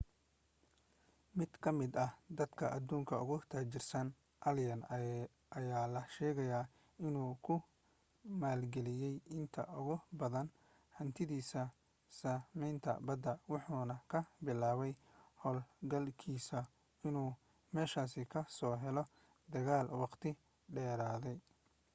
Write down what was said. mid ka mid ah dadka adduunka ugu taajirsan, allen aya la sheegay inuu ku maalgeliyey inta ugu badan hantidiisa sahaminta badda wuxuuna ku bilaabay hawlgalkiisa inuu musashi ka soo helo dagaal waqti dheeraaday